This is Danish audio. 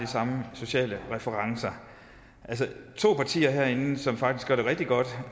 samme sociale referencer to partier herinde som faktisk gør det rigtig godt